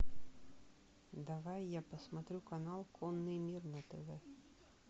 давай я посмотрю канал конный мир на тв